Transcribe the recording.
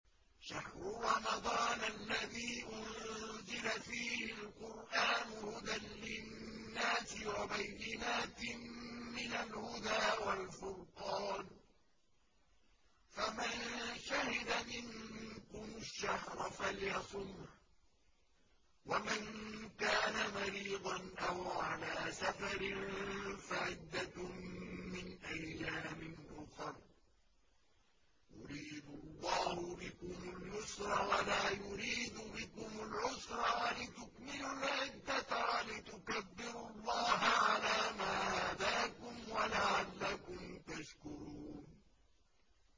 شَهْرُ رَمَضَانَ الَّذِي أُنزِلَ فِيهِ الْقُرْآنُ هُدًى لِّلنَّاسِ وَبَيِّنَاتٍ مِّنَ الْهُدَىٰ وَالْفُرْقَانِ ۚ فَمَن شَهِدَ مِنكُمُ الشَّهْرَ فَلْيَصُمْهُ ۖ وَمَن كَانَ مَرِيضًا أَوْ عَلَىٰ سَفَرٍ فَعِدَّةٌ مِّنْ أَيَّامٍ أُخَرَ ۗ يُرِيدُ اللَّهُ بِكُمُ الْيُسْرَ وَلَا يُرِيدُ بِكُمُ الْعُسْرَ وَلِتُكْمِلُوا الْعِدَّةَ وَلِتُكَبِّرُوا اللَّهَ عَلَىٰ مَا هَدَاكُمْ وَلَعَلَّكُمْ تَشْكُرُونَ